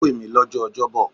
Ó pè mí lọ́jọ́ Ọjọ́ bọ̀.